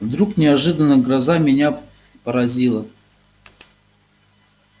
вдруг неожиданно гроза меня поразила